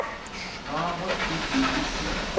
gagwe e be e se